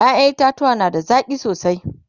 ƴaƴan itatauwa na da zaki sosai